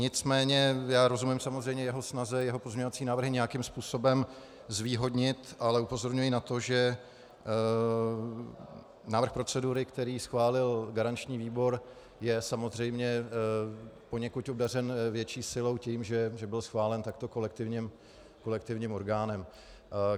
Nicméně já rozumím samozřejmě jeho snaze jeho pozměňovací návrhy nějakým způsobem zvýhodnit, ale upozorňuji na to, že návrh procedury, který schválil garanční výbor, je samozřejmě poněkud obdařen větší silou tím, že byl schválen takto kolektivním orgánem.